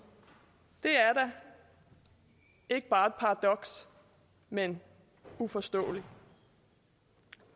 det er da ikke bare et paradoks men uforståeligt